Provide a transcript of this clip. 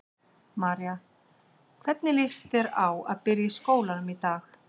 María: Hvernig líst þér á að byrja í skólanum í dag?